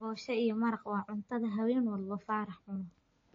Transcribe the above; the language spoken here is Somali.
bosha iyo maraaq waa cuntadha haween walbo farax cunoo.